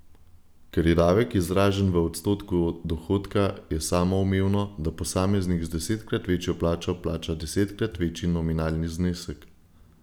Ker je davek izražen v odstotku dohodka, je samoumevno, da posameznik z desetkrat večjo plačo plača desetkrat večji nominalni znesek.